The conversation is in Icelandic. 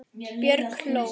Björg hló.